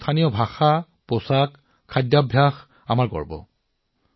আমাৰ স্থানীয় ভাষা উপভাষা পৰিচয় শৈলী খাদ্যৰ বাবেও গৌৰৱান্বিত